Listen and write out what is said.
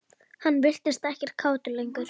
Hann virtist ekkert kátur lengur.